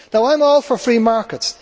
Now I am all for free markets